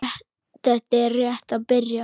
Þetta er rétt að byrja.